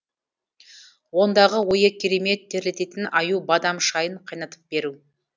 ондағы ойы керемет терлететін аю бадам шайын қайнатып беру